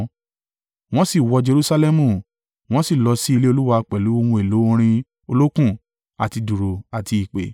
Wọ́n sì wọ Jerusalẹmu, wọ́n sì lọ sí ilé Olúwa pẹ̀lú ohun èlò orin olókùn àti dùùrù àti ìpè.